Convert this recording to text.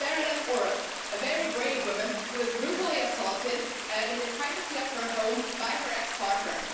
She is Bernadett Orosz, a very brave woman who was brutally assaulted in the privacy of her home by her ex partner.